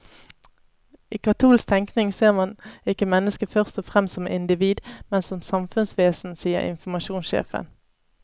I katolsk tenkning ser man ikke mennesket først og fremst som individ, men som samfunnsvesen, sier informasjonssjefen.